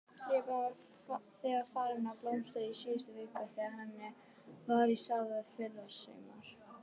Repjan var þegar farin að blómstra í síðustu viku en henni var sáð í fyrrasumar?